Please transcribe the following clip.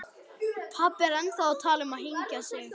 Pabbi er enn að tala um að flytja til